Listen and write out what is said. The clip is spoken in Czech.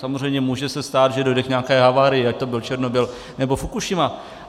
Samozřejmě může se stát, že dojde k nějaké havárii, ať to byl Černobyl, nebo Fukušima.